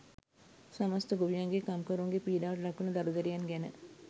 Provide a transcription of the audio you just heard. සමස්ත ගොවියන්ගේ කම්කරුවන්ගේ පීඩාවට ලක්වන දරු දැරියන් ගැන